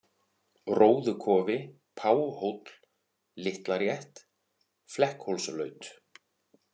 Róðukofi, Páhóll, Litlarétt, Flekkhólslaut